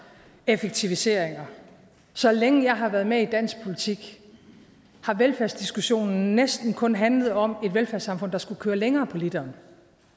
effektiviseringer så længe jeg har været med i dansk politik har velfærdsdiskussionen næsten kun handlet om et velfærdssamfund der skulle køre længere på literen